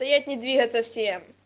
не двигаться все